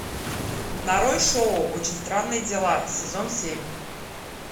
нарой шоу очень странные дела сезон семь